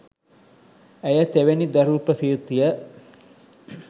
ඇය තෙවැනි දරු ප්‍රසූතිය